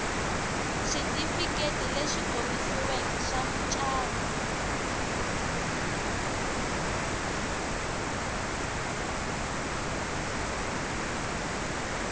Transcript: xitifiketi lexi komisiweke xa mucato